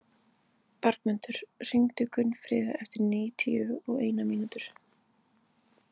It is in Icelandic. Bergmundur, hringdu í Gunnfríði eftir níutíu og eina mínútur.